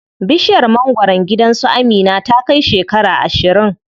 Bishiyar mangwaron gidan su Amina ta kai shekara ashirin.